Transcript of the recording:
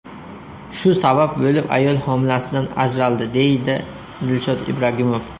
Shu sabab bo‘lib ayol homilasidan ajraldi”, deydi Dilshod Ibragimov.